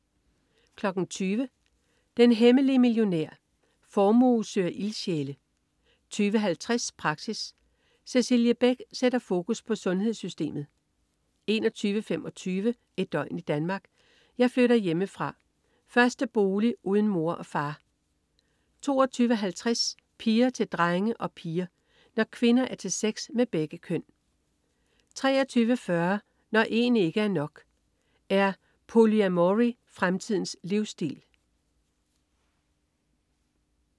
20.00 Den hemmelige millionær. Formue søger ildsjæle 20.50 Praxis. Cecilie Beck sætter fokus på sundhedssystemet 21.25 Et døgn i Danmark: Jeg flytter hjemmefra. Første bolig uden mor og far 22.50 Piger til drenge og piger. Når kvinder er til sex med begge køn 23.40 Når en ikke er nok. Er polyamory fremtidens livsstil?